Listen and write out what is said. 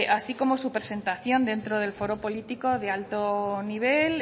así como su presentación dentro del foro político de alto nivel